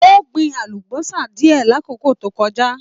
O gbìn àlùbọ́sà diẹ l'akoko to kọjá.